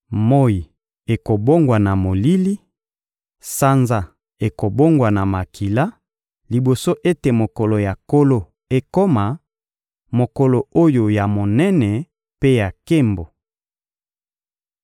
Moyi ekobongwana molili, sanza ekobongwana makila liboso ete mokolo ya Nkolo ekoma, mokolo oyo ya monene mpe ya nkembo.